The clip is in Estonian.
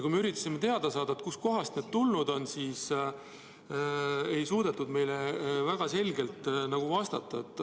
Kui me üritasime teada saada, kust kohast need tulnud on, siis ei suudetud meile väga selgelt vastata.